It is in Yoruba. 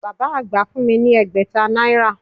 Bàbá àgbà fún mi ni ẹgbẹ̀ta náírà